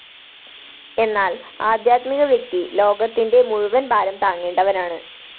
എന്നാല്‍ ആധ്യാത്മികവ്യക്തി ലോകത്തിന്റെ മുഴുവന്‍ ഭാരം താങ്ങേണ്ടവനാണ്‌